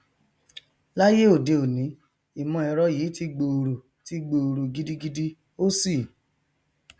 láyé òde òní ìmọẹrọ yìí ti gbòòrò ti gbòòrò gidigidi ó sì